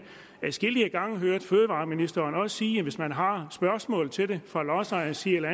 adskillige gange hørt fødevareministeren sige at hvis man har spørgsmål til det fra lodsejernes side eller